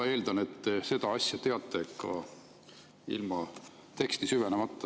Ma eeldan, et seda asja te teate ka ilma teksti süvenemata.